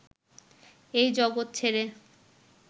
এই জগৎ ছেড়ে